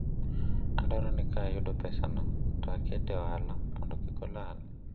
adwaro ni ka ayudo pesa no to aket e ohala mondo kik olal